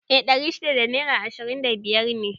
I ɗari shida da naira ishirin da biyar ne